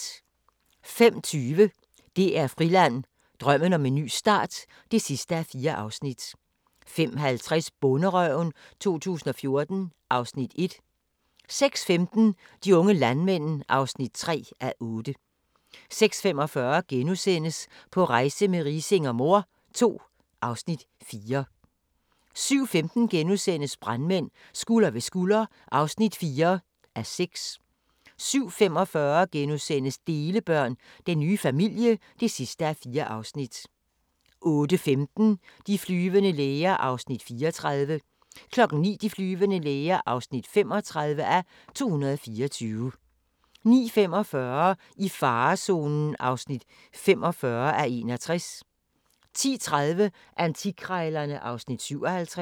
05:20: DR Friland: Drømmen om en ny start (4:4) 05:50: Bonderøven 2014 (Afs. 1) 06:15: De unge landmænd (3:8) 06:45: På rejse med Riising og mor II (Afs. 4)* 07:15: Brandmænd – Skulder ved skulder (4:6)* 07:45: Delebørn – Den nye familie (4:4)* 08:15: De flyvende læger (34:224) 09:00: De flyvende læger (35:224) 09:45: I farezonen (45:61) 10:30: Antikkrejlerne (Afs. 57)